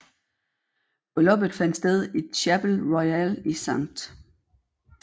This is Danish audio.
Brylluppet fandt sted i Chapel Royal i St